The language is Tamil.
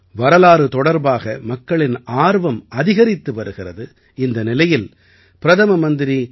வரலாறு தொடர்பாக மக்களின் ஆர்வம் அதிகரித்து வருகிறது இந்த நிலையில் பிரதம மந்திரி